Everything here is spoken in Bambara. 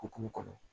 Hokumu kɔnɔ